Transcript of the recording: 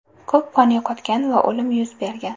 Ko‘p qon yo‘qotgan va o‘lim yuz bergan.